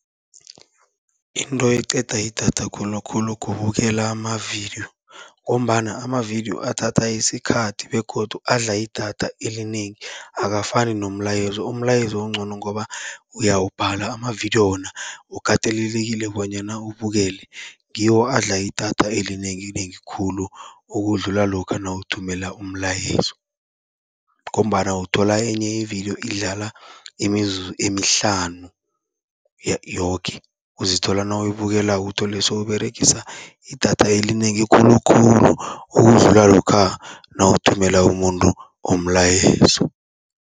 Into eqeda idatha khulukhulu kubukela amavidiyo, ngombana amavidiyo athatha isikhathi begodu adla idatha elinengi akafani nomlayezo. Umlayezo uncono ngoba uyawubhala, amavidiyo wona ukatelelekile bonyana ubukele. Ngiwo adla idatha elinenginengi khulu, ukudlula lokha nawuthumela umlayezo. Ngombana uthola enye ividiyo idlala imizuzu emihlanu yoke, uzithola nawuyibukelako uthole sowuberegisa idatha elinengi khulukhulu, ukudlula lokha nawuthumela umuntu umlayezo.